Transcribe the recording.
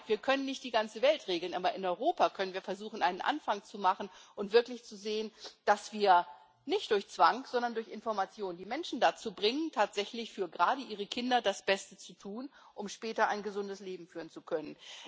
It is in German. Wir können nicht die ganze Welt regeln, aber in Europa können wir versuchen, einen Anfang zu machen und wirklich zu sehen, dass wir nicht durch Zwang, sondern durch Information die Menschen dazu bringen, tatsächlich gerade für ihre Kinder das Beste zu tun, um später ein gesundes Leben führen zu können.